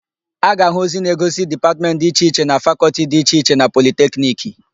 A ga-áhụ̀ ozi na-egosi Dipatmentị dị iche iche na Fakọltị dị iche iche na Politekniki.